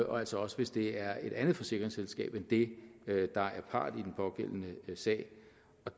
og altså også hvis det er et andet forsikringsselskab end det der er part i den pågældende sag